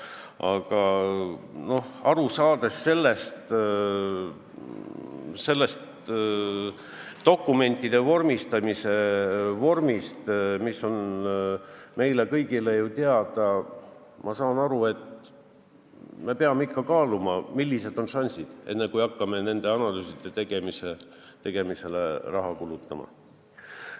Aga teades keerulist dokumentide vormistamist, mis on meile ju kõigile teada, ma saan aru, et me peame ikka kaaluma, millised on šansid, enne kui hakkame nende analüüside tegemisele raha kulutama.